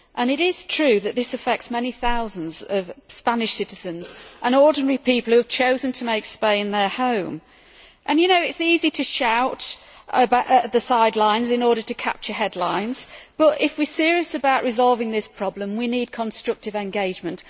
It is true that this affects many thousands of Spanish citizens and ordinary people who have chosen to make Spain their home. It is easy to shout from the sidelines in order to capture headlines, but if we are serious about resolving this problem, we need constructive engagement.